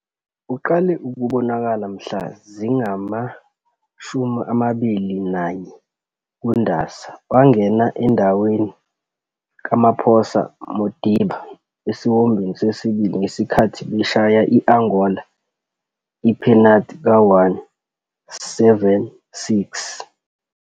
Uqale ukubonakala mhla zingamashumi amabili nanye kuNdasa, March, wangena endaweni kaMaphosa Modiba esiwombeni sesibili ngesikhathi beshaya i-Angola iphenathi ka-1, 7-6.